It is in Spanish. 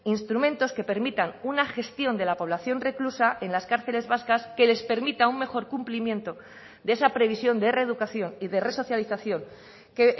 instrumentos que permitan una gestión de la población reclusa en las cárceles vascas que les permita un mejor cumplimiento de esa previsión de reeducación y de resocialización que